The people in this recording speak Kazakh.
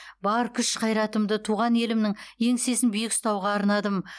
бар күш қайратымды туған елімнің еңсесін биік ұстауға арнадым